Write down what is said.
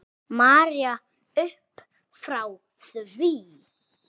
María uppfrá því.